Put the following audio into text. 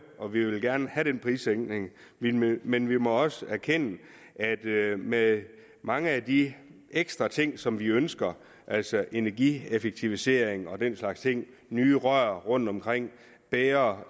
og vi vil gerne have den prissænkning men vi men vi må også erkende at med mange af de ekstra ting som vi ønsker altså energieffektivisering og den slags ting nye rør rundtomkring bedre